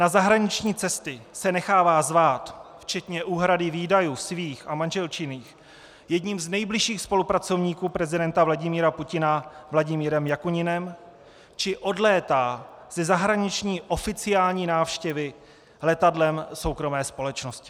Na zahraniční cesty se nechává zvát, včetně úhrady výdajů svých a manželčiných, jedním z nejbližších spolupracovníků prezidenta Vladimíra Putina Vladimírem Jakuninem či odlétá ze zahraniční oficiální návštěvy letadlem soukromé společnosti.